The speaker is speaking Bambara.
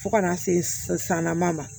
Fo ka na se sanna ma